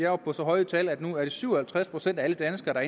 oppe på så høje tal at det nu er syv og halvtreds procent af alle danskere der